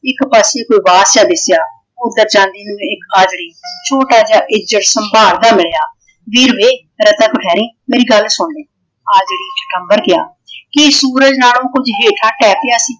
ਇੱਕ ਪਾਸੇ ਗੁਬਾਰ ਜਾ ਦੇਖਿਆ। ਉਧਰ ਜਾਂਦੀ ਨੂੰ ਇਕ ਹਾਜਰੀ ਛੋਟਾ ਜਿਹਾ ਇੱਕ ਜਸ਼ਨ ਬਹਾਰ ਦਾ ਮਿਲਿਆ। ਵੀਰ ਵੇ ਤੇਰਾ ਤਾ ਕੁਛ ਹੈ ਨੀ ਮੇਰੀ ਗੱਲ ਸੁਣ ਲੈ ਆਦਮੀ ਅੰਬਰ ਗਿਆ ਕਿ ਸੂਰਜ ਨਾਲੋਂ ਕੁੱਝ ਹੇਠਾਂ ਢਹਿ ਪਿਆ ਸੀ।